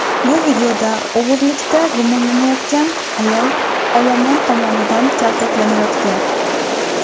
Bu videoda o‘g‘rilikda gumonlangan ayol olomon tomonidan kaltaklanayotgan.